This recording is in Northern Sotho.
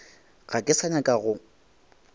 ga ke sa nyaka go